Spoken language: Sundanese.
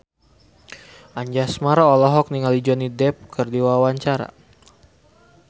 Anjasmara olohok ningali Johnny Depp keur diwawancara